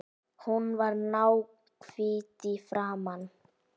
Hún var náhvít í framan.